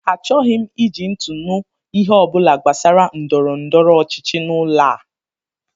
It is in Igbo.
Achọghị m iji ntị anụ ihe ọ bụla gbasara ndọrọndọrọ ọchịchị n'ụlọ a!